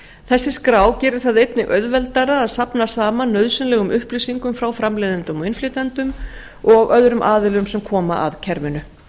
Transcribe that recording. þessi skrá gerir það einnig auðveldara að safna saman nauðsynlegum upplýsingum frá framleiðendum og innflytjendum og öðrum aðilum sem koma að kerfinu